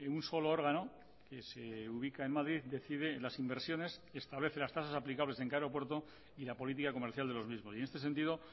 un solo órgano que se ubica en madrid decide las inversiones establece las tasas aplicables en cada aeropuerto y la política comercial de los mismos y en este sentido